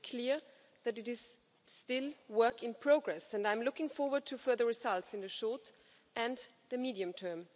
It is clear that it is still work in progress, and I'm looking forward to further results in the short— and the medium-term.